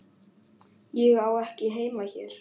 Ég á ekki heima hér.